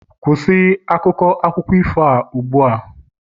kwụsị akụkọ ifo a ugbu a!